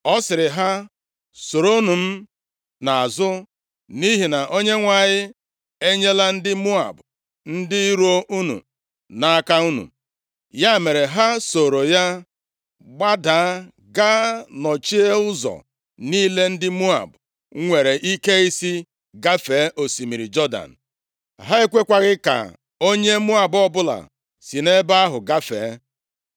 Ọ sịrị ha, “Soronụ m nʼazụ, nʼihi na Onyenwe anyị enyela ndị Moab ndị iro unu nʼaka unu.” Ya mere, ha sooro ya gbadaa, gaa nọchie ụzọ niile ndị Moab nwere ike isi gafee osimiri Jọdan. Ha ekwekwaghị ka onye Moab ọbụla si nʼebe ahụ gafee.